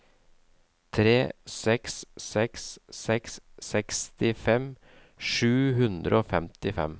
tre seks seks seks sekstifem sju hundre og femtifem